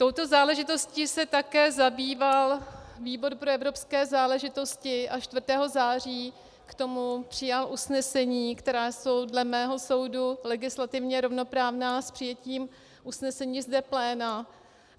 Touto záležitostí se také zabýval výbor pro evropské záležitosti a 4. září k tomu přijal usnesení, která jsou dle mého soudu legislativně rovnoprávná s přijetím usnesení zde pléna.